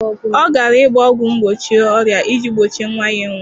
Ọ gara ịgba ọgwụ mgbochi ọrịa iji gbochie nwa ya ịnwụ.